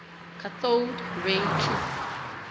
cathode ray tube